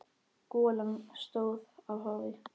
Golan stóð af hafi.